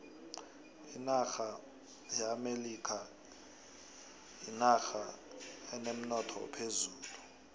inaxha yeamelikha yinoxha enemnotho ophezulu